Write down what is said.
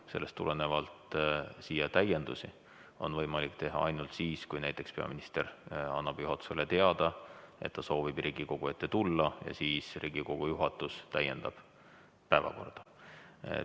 Sellest tulenevalt on võimalik siia täiendusi teha ainult siis, kui näiteks peaminister annab juhatusele teada, et ta soovib Riigikogu ette tulla, ja siis Riigikogu juhatus täiendab päevakorda.